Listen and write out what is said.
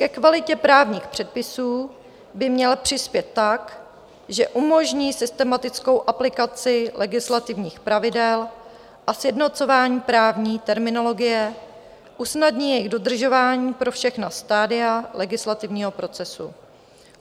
Ke kvalitě právních předpisů by měl přispět tak, že umožní systematickou aplikaci legislativních pravidel a sjednocování právní terminologie, usnadní jejich dodržování pro všechna stadia legislativního procesu.